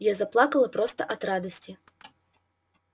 я заплакала просто от радости